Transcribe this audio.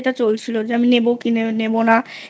এটা চলছিল আমি নেবো কি নেবো না